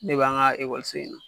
Ne b'an ka in na.